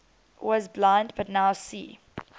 was blind but now see